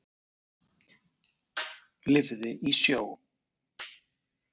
Lifði í sjó.